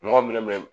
Mɔgɔ minɛ